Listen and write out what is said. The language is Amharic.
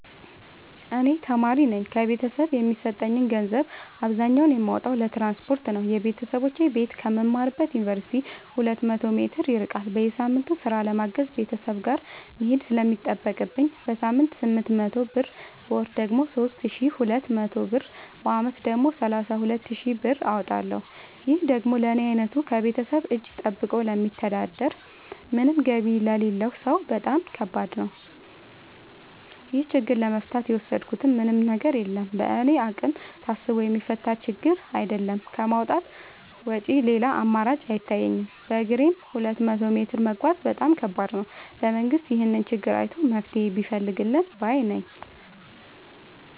እኔ ተማሪነኝ ከቤተሰብ የሚሰጠኝን ገንዘብ አብዛኛውን የማወጣው ለትራንስፖርት ነው የበተሰቦቼ ቤት ከምማርበት ዮንቨርሲቲ ሁለት መቶ ሜትር ይርቃል። በየሳምቱ ስራ ለማገዝ ቤተሰብ ጋር መሄድ ስለሚጠቅብኝ በሳምንት ስምንት መቶ ብር በወር ደግሞ ሶስት ሺ ሁለት መቶ ብር በአመት ደግሞ ሰላሳ ሁለት ሺ ብር አወጣለሁ ይህ ደግሞ ለኔ አይነቱ ከቤተሰብ እጂ ጠብቆ ለሚተዳደር ምንም ገቢ ለሌለው ሰው በጣም ከባድ ነው። ይህን ችግር ለመፍታት የወሰድኩት ምንም ነገር የለም በእኔ አቅም ታስቦ የሚፈታ ችግርም አይደለም ከማውጣት ውጪ ሌላ አማራጭ አይታየኝም በግሬም ሁለት መቶ ሜትር መጓዝ በጣም ከባድ ነው። መንግስት ይህንን ችግር አይቶ መፍትሔ ቢፈልግልን ባይነኝ።